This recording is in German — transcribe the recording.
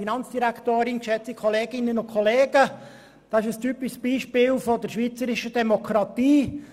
Es ist ein typisches Beispiel für die schweizerische Demokratie: